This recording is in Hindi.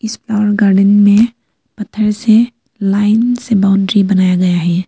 इस फ्लावर गार्डन में पत्थर से लाइन से बाउंड्री बनाया गया है।